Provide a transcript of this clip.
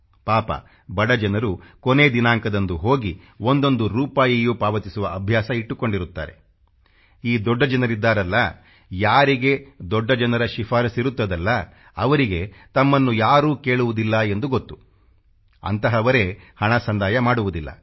ಪಾಪ ಬಡ ಜನರು ಕೊನೇ ದಿನಾಂಕದಂದು ಹೋಗಿ ಒಂದೊಂದು ರೂಪಾಯಿಯೂ ಪಾವತಿಸುವ ಅಭ್ಯಾಸ ಇಟ್ಟುಕೊಂಡಿರುತ್ತಾರೆ ಈ ದೊಡ್ಡ ಜನರಿದ್ದಾರಲ್ಲ ಯಾರಿಗೆ ದೊಡ್ಡ ಜನರ ಶಿಫಾರಸ್ಸಿರುತ್ತದಲ್ಲಾ ಅವರಿಗೆ ತಮ್ಮನ್ನು ಯಾರೂ ಕೇಳುವುದಿಲ್ಲ ಎಂದು ಗೊತ್ತು ಅಂಥವರೇ ಹಣ ಸಂದಾಯ ಮಾಡುವುದಿಲ್ಲ